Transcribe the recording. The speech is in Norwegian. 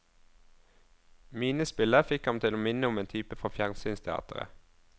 Minespillet fikk ham til å minne om en type fra fjernsynsteatret.